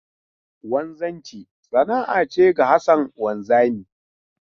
Wanzanci sana'a ce ga Hassan wanzami.